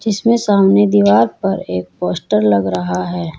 इसमें सामने दीवार पर एक पोस्टर लग रहा है।